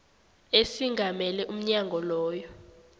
esingamele umnyango loyo